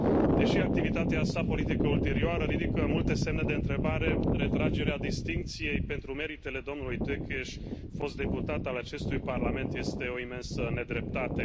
Deși activitatea sa politică ulterioară ridică multe semne de întrebare, retragerea distincției pentru meritele domnului Tőkés, fost deputat al acestui Parlament, este o imensă nedreptate.